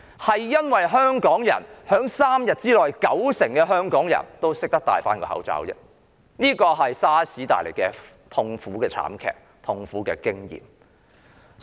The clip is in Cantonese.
反而，是因為香港人 ——3 天內有九成香港人——佩戴口罩而已，這是由於 SARS 慘劇所帶來的痛苦經驗所致。